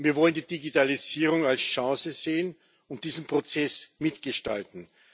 Wir wollen die Digitalisierung als Chance sehen und diesen Prozess mitgestalten.